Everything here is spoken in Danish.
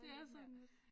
Det er sådan lidt